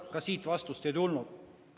Ka sel korral vastust ei tulnud.